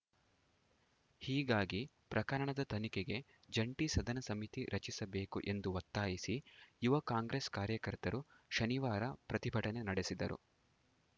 ಹೀಗಾಗಿ ಪ್ರಕರಣದ ತನಿಖೆಗೆ ಜಂಟಿ ಸದನ ಸಮಿತಿ ರಚಿಸಬೇಕು ಎಂದು ಒತ್ತಾಯಿಸಿ ಯುವ ಕಾಂಗ್ರೆಸ್‌ ಕಾರ್ಯಕರ್ತರು ಶನಿವಾರ ಪ್ರತಿಭಟನೆ ನಡೆಸಿದರು